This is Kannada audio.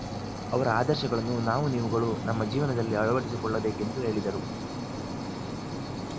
ಅವರ ಆದರ್ಶಗಳನ್ನು ನಾವು ನೀವುಗಳು ನಮ್ಮ ಜೀವನದಲ್ಲಿ ಅಳವಡಿಸಿಕೊಳ್ಳಬೇಕೆಂದು ಹೇಳಿದರು